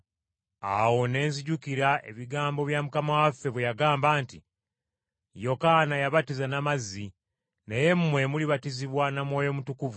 Awo ne nzijukira ebigambo bya Mukama waffe bwe yagamba nti, ‘Yokaana yabatiza na mazzi, naye mmwe mulibatizibwa na Mwoyo Mutukuvu.’